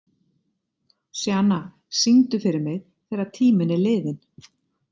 Sjana, syngdu fyrir mig „Þegar tíminn er liðinn“.